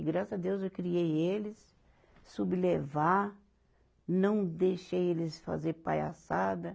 E graças a Deus eu criei eles, soube levar, não deixei eles fazer palhaçada.